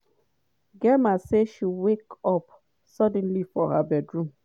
gemma say she wake up suddenly for her bedroom.